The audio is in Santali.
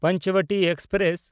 ᱯᱚᱧᱪᱚᱵᱚᱴᱤ ᱮᱠᱥᱯᱨᱮᱥ